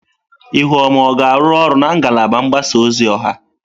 Ihuoma ọ ga-arụ ọrụ na ngalaba mgbasa ozi ọha?